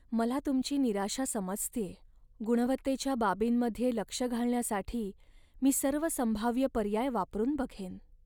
मला तुमची निराशा समजतेय, गुणवत्तेच्या बाबींमध्ये लक्ष घालण्यासाठी मी सर्व संभाव्य पर्याय वापरून बघेन.